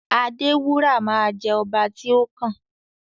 Adewura ma jẹ ọba ti o kàn.